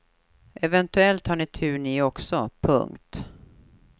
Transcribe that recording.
Eventuellt har ni tur ni också. punkt